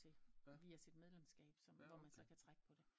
Til via sit medlemskab som hvor man så kan trække på det